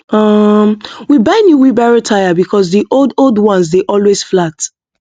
um we buy new wheelbarrow tyre because the old old one dey always flat